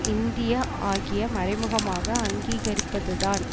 India ஆகிய மறைமுகமாக அங்கீகரிப்பதுதான்